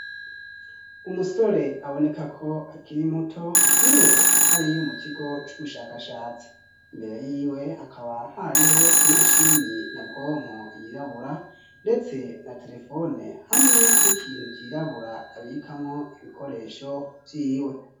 umusore aboneka ko akiri muto ni we ari mu kigo c'ubushakashatsi mbere y'iwe akaba hariho imashini nyabwonko yirabura ndetse na terefone hamwe n'ikintu cyirabura abikamo ibikoresho byiwe